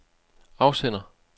afsender